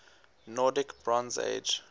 nordic bronze age